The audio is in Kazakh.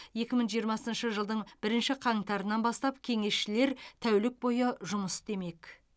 екі мың жиырмасыншы жылдың бірінші қаңтарынан бастап кеңесшілер тәулік бойы жұмыс істемек